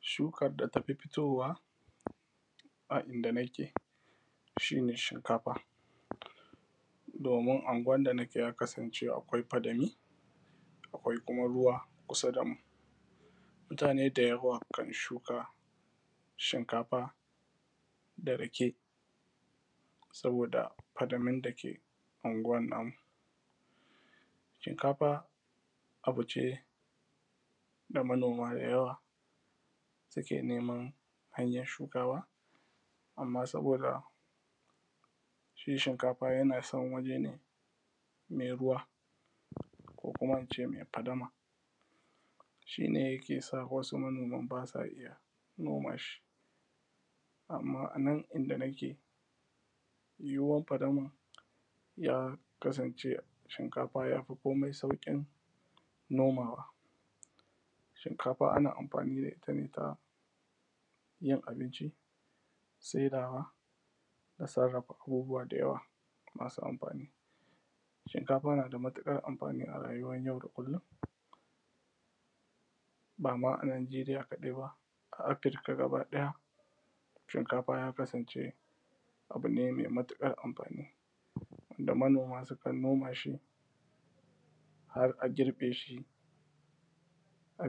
shukar da tafi fitowa a inda nake shine shinkafa domin anguwan da nake ya kasance akwai fadami akwai kuma ruwa kusa damu mutane da yawa kan shuka shinkafa da saboda fadamun dake anguwan namu shinkafa abune da manoma da yawa suke neman hanyan shukawa amma saboda shi shinkafa yana son wani yanayi mai ruwa ko kuma ince fadama shine yakesa wasu manoman basa iyya noma shi amma anan inda nake yawan fadaman mu ya kasance shinkafa yafi saukin nomawa shinkafa ana amfani da itta ne ayin abinci sedawa da sarrafa abubuwa da yawa masu amfani shinkafa nada matukar amfani a rayuwar yau da kullum bama a najiriya kadai ba a afirika gaba daya shinkafa ya kasan ce abu ne mai matukar amfani da manoma sukan noma shi har a girbe shi a